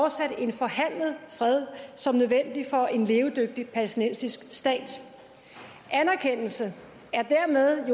fortsat en forhandlet fred som nødvendig for en levedygtig palæstinensisk stat anerkendelse er jo dermed